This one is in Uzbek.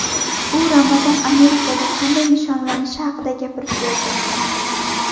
U Ramazon Amerikada qanday nishonlanishi haqida gapirib berdi.